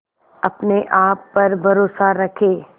अपने आप पर भरोसा रखें